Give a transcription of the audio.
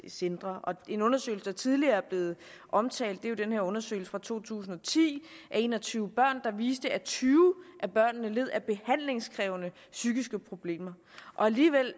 centre en undersøgelse der tidligere er blevet omtalt er jo den her undersøgelse fra to tusind og ti af en og tyve børn der viste at tyve af børnene led af behandlingskrævende psykiske problemer og alligevel